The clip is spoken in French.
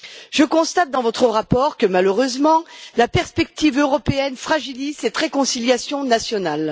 Je constate dans votre rapport que, malheureusement, la perspective européenne fragilise cette réconciliation nationale.